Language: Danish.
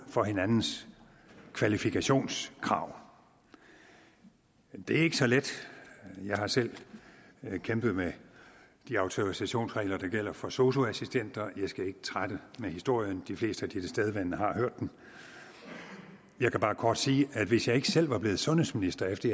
for hinandens kvalifikationskrav det er ikke så let jeg har selv kæmpet med de autorisationsregler der gælder for sosu assistenter jeg skal ikke trætte med historien de fleste tilstedeværende har hørt den jeg kan bare kort sige at hvis jeg ikke selv var blevet sundhedsminister efter